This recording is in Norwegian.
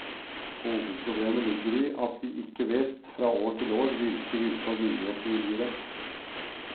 Hovedproblemet ligger i at de ikke vet, fra år til år, hvilke vilkår myndighetene vil gi dem.